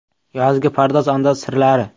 Yozgi pardoz-andoz sirlari.